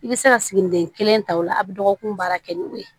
I bɛ se ka siginiden kelen ta o la a bɛ dɔgɔkun baara kɛ ni o ye